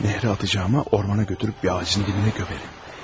Nəhrə atacağıma ormana götürüb bir ağacın dibinə gömərim.